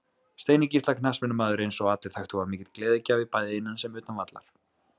Steini Gísla knattspyrnumaður eins og allir þekktu var mikill gleðigjafi bæði innan sem utan vallar.